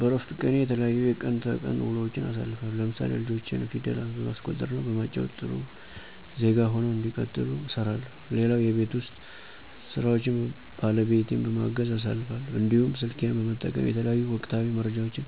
በረፍት ቀኔ የተለያዩ የቀን ተቀን ውሎዎችን አሳልፋለሁ ለምሳሌ ልጆቼን ፊደል በማስቆጠር እና በማጫዎት ጥሩ ዜጋ ሁነው እንዲቀጥሉ እሰራለሁ። ሌላው የቤት ውስጥ ስራዎችን ባለቤቴን በማገዝ አሳልፋለሁ። እንዲሁም ስልኬን በመጠቀም የተለያዩ ወቅታዊ መረጃዎችን